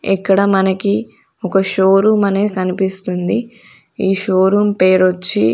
ఇక్కడ మనకి ఒక షో రూమ్ అనేది కనిపిస్తుంది ఈ షోరూం పేరు వచ్చి--